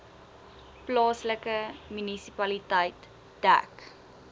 plaaslike munisipaliteit dek